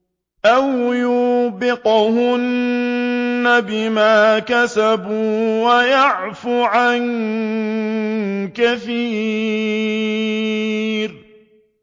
أَوْ يُوبِقْهُنَّ بِمَا كَسَبُوا وَيَعْفُ عَن كَثِيرٍ